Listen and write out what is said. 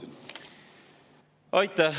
Aitäh!